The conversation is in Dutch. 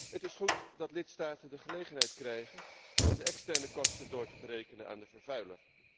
Het is goed dat lidstaten de gelegenheid krijgen om de externe kosten door te berekenen aan de vervuiler.